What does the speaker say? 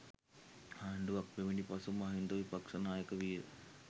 ආණ්ඩුවක් පැමිණි පසු මහින්ද විපක්ෂ නායක විය.